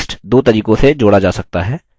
text दो तरीकों से जोड़ा जा सकता है